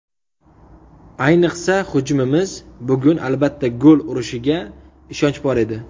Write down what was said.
Ayniqsa hujumimiz bugun, albatta, gol urishiga ishonch bor edi.